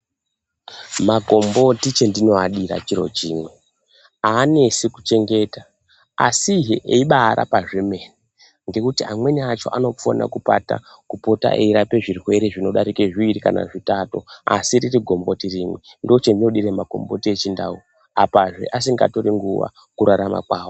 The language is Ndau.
Makamboti chatino adira chiro chimwe aanesi kuchengeta asi he eibai rapa zvemene ngekuti amweni acho anofana kupota eirape zvirwere zvino darike zviviri kana zvitatu asi riri gomboti rimwe ndo chandino dira makomboti e chindau apazve asinga tori nguva ku rarama kwavo.